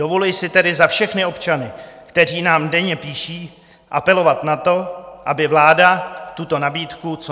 Dovoluji si tedy za všechny občany, kteří nám denně píší, apelovat na to, aby vláda tuto nabídku co